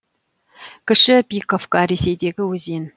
кіші пиковка ресейдегі өзен